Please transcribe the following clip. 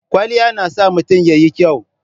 Kwalliya na sa mutun ya yi kyau.